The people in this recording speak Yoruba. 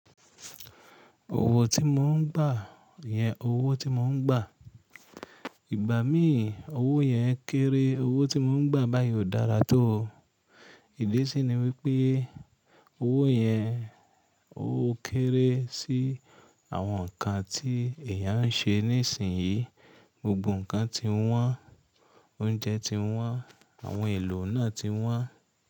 Owó tí mò ń gbà yẹn owó tí mò ń gbà. Ìgbà mí owó yẹn kéré, owó tí mò ń gbà báyìí ò dára tó o. Ìdí sí ni wípé owó yẹn ó kéré sí àwọn nǹkan tí èeyàn ń ṣe nísinsìnyí. Gbogbo nǹkan ti wọ́n, oúnjẹ ti wọ́n, àwọn èlò náà ti wọ́n.